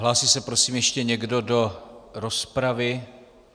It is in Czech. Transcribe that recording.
Hlásí se prosím ještě někdo do rozpravy?